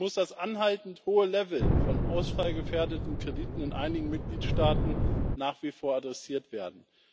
So muss das anhaltend hohe Level von ausfallgefährdeten Krediten in einigen Mitgliedstaaten nach wie vor adressiert werden.